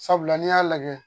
Sabula n'i y'a lajɛ